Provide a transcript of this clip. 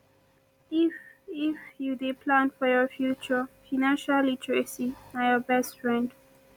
if if you dey plan for your future financial literacy na your best friend